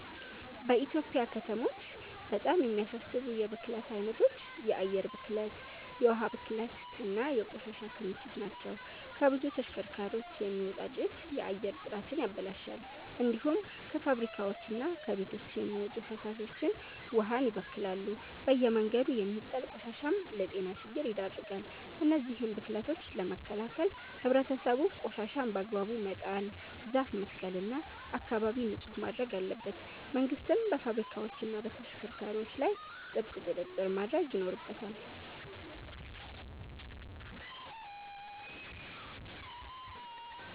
በኢትዮጵያ ከተሞች በጣም የሚያሳስቡ የብክለት አይነቶች የአየር ብክለት፣ የውሃ ብክለት እና የቆሻሻ ክምችት ናቸው። ከብዙ ተሽከርካሪዎች የሚወጣ ጭስ የአየር ጥራትን ያበላሻል። እንዲሁም ከፋብሪካዎችና ከቤቶች የሚወጡ ፍሳሾች ውሃን ይበክላሉ። በየመንገዱ የሚጣል ቆሻሻም ለጤና ችግር ይዳርጋል። እነዚህን ብክለቶች ለመከላከል ህብረተሰቡ ቆሻሻን በአግባቡ መጣል፣ ዛፍ መትከል እና አካባቢን ንጹህ ማድረግ አለበት። መንግስትም በፋብሪካዎችና በተሽከርካሪዎች ላይ ጥብቅ ቁጥጥር ማድረግ ይኖርበታል።